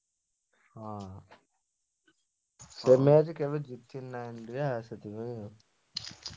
ହଁ ସେଠିପାଇଁ ଆଉ।